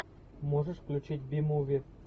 можешь включить би муви